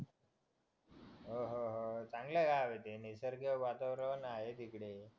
अह चांगलं गाव आहे ते निसर्ग वातावरण आहे तिकडे